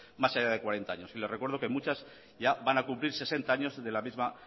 más allá de cuarenta años y le recuerdo que muchas ya van a cumplir sesenta años de la misma